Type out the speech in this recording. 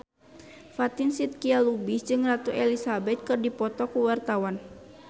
Fatin Shidqia Lubis jeung Ratu Elizabeth keur dipoto ku wartawan